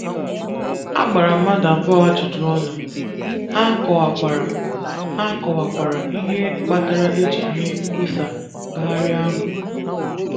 A gbara mmadụ abụọ ajụjụ ọnụ, ha kọwakwara ha kọwakwara ihe kpatara e ji mee nkwusa ngagharị ahụ.